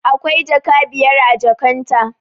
Akwai jaka biyar a jakan ta